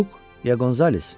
Lyuk ya Qonzales?